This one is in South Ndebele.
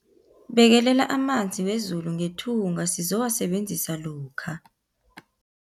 Bekelela amanzi wezulu ngethunga sizowasebenzisa lokha.